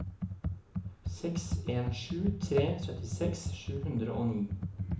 seks en sju tre syttiseks sju hundre og ni